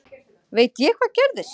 Veit ég hvað gerðist?